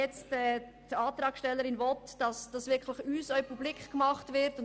Die Antragstellerin will, dass diese auch uns zur Kenntnis gebracht werden.